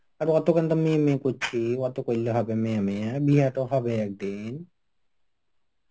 আর অতোখান তো মেয়ে মেয়ে করছি অত করলে হবে মেয়ে মেয়ে বিয়া তো হবে একদিন.